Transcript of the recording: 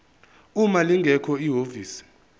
uma lingekho ihhovisi